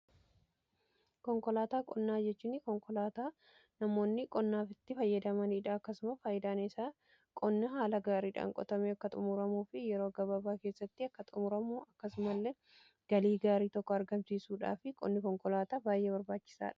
Konkolaataa qonnaa jechuun konkolaataa namoonni qonnaaf itti fayyadamaniidha. Akkasumas faayidaan isaa qonna haala gaariidhaan qotamee akka xumuramuu fi yeroo gababaa keessatti akka xumuramuu akkasuma illee galii gaarii tokko argamsiisuu fi qonni konkolaataa baay'ee barbaachisaadha.